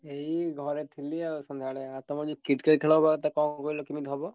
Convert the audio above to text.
ଏଇ ଘରେ ଥିଲି ଆଉ ତମର ଯୋଉ Cricket ଖେଳ ହବା କଥା କଣ କହିଲ ପୁଣି ହବ?